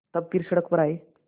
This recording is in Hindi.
तब फिर सड़क पर आये